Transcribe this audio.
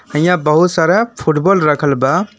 अहीयां बहुत सारा फुटबॉल रखल बा।